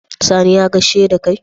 Sani ya gaishe dakai?